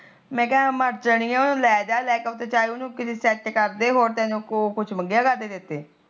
ਮੈਕਾ ਮਰਜਾਣੀਏ ਉਹਨੂੰ ਲੈਜਾਂ ਚਾਹੇ ਲੈਕੇ ਸੈਟ ਕਰਦੀ ਉਹਨੂੰ ਉਹ ਤੈਨੂੰ ਕੁਛ ਮੰਗਿਆ ਕਰਦੇ ਤੇਤੇ